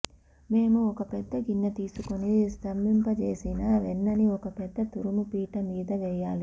మేము ఒక పెద్ద గిన్నె తీసుకొని స్తంభింపచేసిన వెన్నని ఒక పెద్ద తురుము పీట మీద వేయాలి